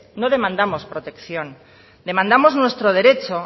no demandamos protección demandamos nuestro derecho